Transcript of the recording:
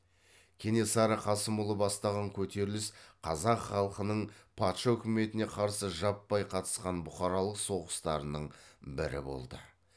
кенесары қасымұлы бастаған көтеріліс қазақ халқының патша үкіметіне қарсы жаппай қатысқан бұқаралық соғыстарының бірі болды